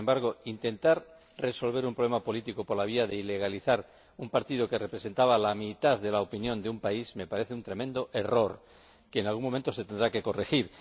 Pero, sin embargo, intentar resolver un problema político por la vía de ilegalizar un partido que representaba a la mitad de la opinión de un país me parece un tremendo error, que en algún momento se tendrá que corregir.